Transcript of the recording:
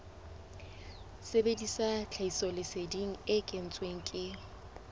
sebedisa tlhahisoleseding e kentsweng ke